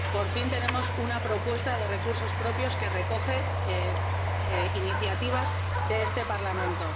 Por fin tenemos una propuesta de recursos propios que recoge iniciativas de este Parlamento.